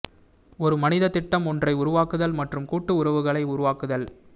ஒரு மனித திட்டம் ஒன்றை உருவாக்குதல் மற்றும் கூட்டு உறவுகளை உருவாக்குதல்